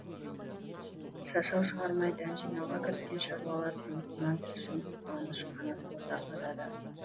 шашау шығармай дән жинауға кіріскен шаруалар тынысынан тілшіміз қуаныш қанатұлы тарқатады